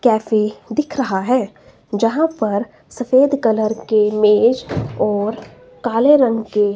cafe दिख रहा है जहां पर सफेद कलर की मेज और काले रंग के--